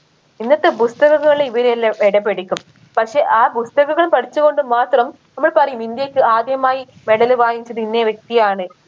ഇന്നത്തെ പുസ്തകങ്ങൾ ഇവിടെയെല്ലം എടപെടീക്കും പക്ഷെ ആ പുസ്തകങ്ങൾ പഠിച്ച് കൊണ്ട് മാത്രം നമ്മൾ പറയും ഇന്ത്യക്ക് ആദ്യമായി medal വാങ്ങിച്ചത് ഇന്ന വ്യക്തിയാണ്